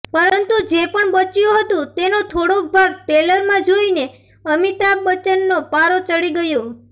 પરંતુ જે પણ બચ્યું હતું તેનો થોડોક ભાગ ટ્રેલરમાં જોઈને અમિતાભ બચ્ચનનો પારો ચઢી ગયો